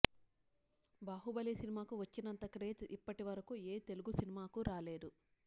బాహుబలి సినిమాకు వచ్చినంత క్రేజ్ ఇప్పటి వరకు ఏ తెలుగు సినిమాకు రాలేదు